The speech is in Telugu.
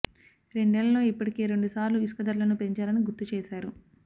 రెండేళ్లలో ఇప్పటికే రెండు సార్లు ఇసుక ధరలను పెంచారని గుర్తు చేశారు